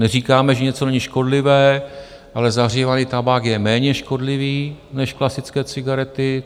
Neříkáme, že něco není škodlivé, ale zahřívaný tabák je méně škodlivý než klasické cigarety.